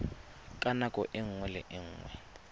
ka nako nngwe le nngwe